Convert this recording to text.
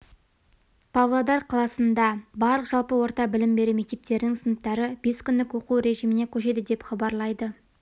павлодар қаласында барлық жалпы орта білім беру мектептерінің сыныптары бес күндік оқу режиміне көшеді деп хабарлайды